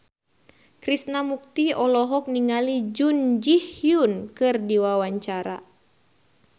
Krishna Mukti olohok ningali Jun Ji Hyun keur diwawancara